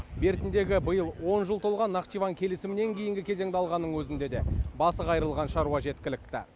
бертіндегі биыл он жыл толған нахчыван келісімінен кейінгі кезеңді алғанның өзінде де басы қайырылған шаруа жеткілікті